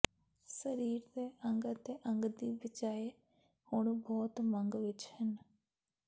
ਸਰੀਰ ਦੇ ਅੰਗ ਅਤੇ ਅੰਗ ਦੀ ਬਿਜਾਈ ਹੁਣ ਬਹੁਤ ਮੰਗ ਵਿੱਚ ਹਨ